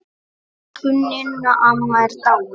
Elsku Ninna amma er dáin.